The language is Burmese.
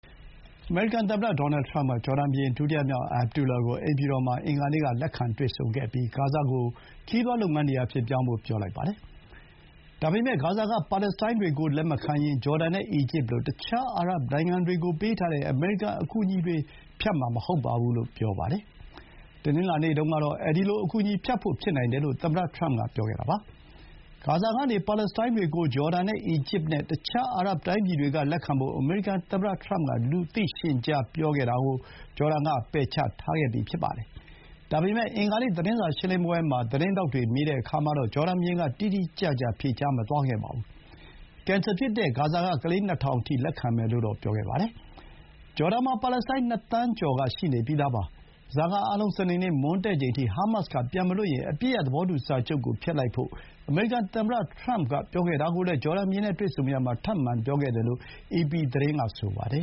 အမေရိကန်သမ္မတ ဒေါ်နယ် ထရမ့်က ဂျော်ဒန်ဘုရင် ဒုတိယမြောက် Abdullah ကို အိမ်ဖြူတော်မှာ အင်္ဂါနေ့က လက်ခံတွေ့ဆုံပြီး ဂါဇာကို ခရီးသွားလုပ်ငန်းနေရာအဖြစ် ပြောင်းဖို့ ပြောလိုက်ပါတယ်။ ဒါပေမဲ့ ဂါဇာက ပါလက်စတိုင်းတွေကို လက်မခံရင် ဂျော်ဒန်နဲ့ အီဂျစ်လို တခြား အာရပ်နိုင်ငံတွေကို ပေးထားတဲ့ အမေရိကန်အကူအညီတွေ ဖြတ်မှာမဟုတ်ပါဘူးလို့ ဆိုပါတယ်။ တနင်္လာနေ့တုန်းကတော့ အဲဒီလို အကူအညီဖြတ်ဖို့ ဖြစ်နိုင်တယ်လို့ သမ္မတထရမ့်က ပြောခဲ့တာပါ။ ဂါဇာကနေ ပါလက်စတိုင်းတွေကို ဂျော်ဒန်၊ အီဂျစ်နဲ့ တခြား အာရပ်တိုင်းပြည်တွေက လက်ခံဖို့ အမေရိကန်သမ္မတ ထရမ့်က လူသိရှင်ကြား ပြောထားတာကို ဂျော်ဒန်က ပယ်ချထားခဲ့တာပါ။ ဒါပေမဲ့ အင်္ဂါနေ့ သတင်းစာရှင်းလင်းပွဲမှာ သတင်းထောက်တွေ မေးတဲ့အခါမှာတော့ ဂျော်ဒန်ဘုရင်က တိတိကျကျ ဖြေကြားမသွားခဲ့ပါဘူး။ ဂျော်ဒန်မှာ ပါလက်စတိုင်း ၂ သန်းကျော် ရှိနေပြီးသားပါ။ ဓားစာခံအားလုံး စနေနေ့ မွန်းတည့်ချိန်အထိ ဟားမတ်စ်က ပြန်မလွှတ်ရင် အပစ်ရပ် သဘောတူစာချုပ်ကို ဖျက်လိုက်ဖို့ အမေရိကန်သမ္မတ ထရမ့်က ပြောခဲ့တာကိုလည်း ဂျော်ဒန်ဘုရင်နဲ့ တွေ့ဆုံရာမှာ ထပ်မံပြောခဲ့တယ်လို့ အေပီသတင်းက ဆိုပါတယ